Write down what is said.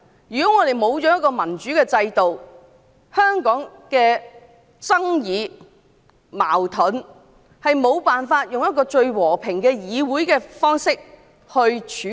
如果欠缺民主制度，香港的爭議和矛盾便無法以最和平的議會方式來處理。